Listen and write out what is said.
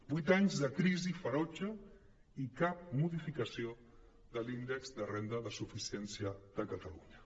vuit anys de crisi ferotge i cap modificació de l’índex de renda de suficiència de catalunya